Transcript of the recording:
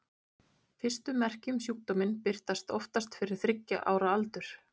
Fyrstu merki um sjúkdóminn birtast oftast fyrir þriggja ára aldur.